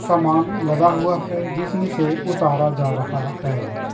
समान लदा हुआ है जिसमें से उतारा जा रहा है।